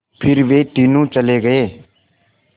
फिर वे तीनों चले गए